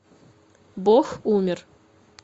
бог умер